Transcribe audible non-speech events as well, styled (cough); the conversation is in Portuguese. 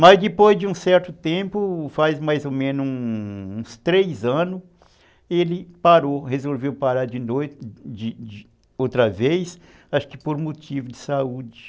Mas depois de um certo tempo, faz mais ou menos uns três anos, ele parou, resolveu parar de (unintelligible) outra vez, acho que por motivo de saúde.